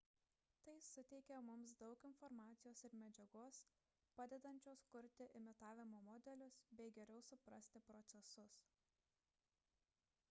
tai suteikia mums daug informacijos ir medžiagos padedančios kurti imitavimo modelius bei geriau suprasti procesus